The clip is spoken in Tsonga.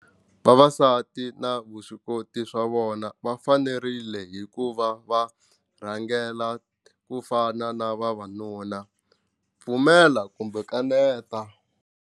Vavasati na vuswikoti swa vona va fanerile hi ku va va rhangela ku fana na vavanuna pfumela kumbe kaneta.